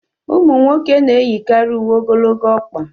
ụmụ nwoke na-eyikarị uwe ogologo ọkpa